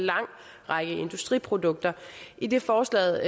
lang række industriprodukter idet forslaget